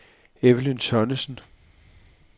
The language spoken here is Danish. Evelyn Tonnesen